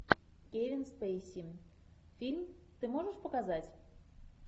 кевин спейси фильм ты можешь показать